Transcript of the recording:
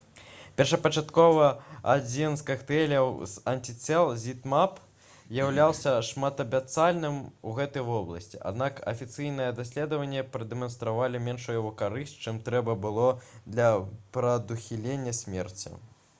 першапачаткова адзін з кактэйляў з антыцел zmapp уяўляўся шматабяцальным у гэтай вобласці аднак афіцыйныя даследаванні прадэманстравалі меншую яго карысць чым трэба было для прадухілення смерці